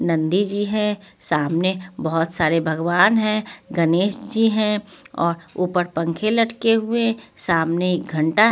नंदी जी हैं सामने बहुत सारे भगवान हैं गणेश जी हैं और ऊपर पंखे लटके हुए सामने घंटा--